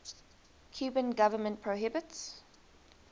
cuban government prohibits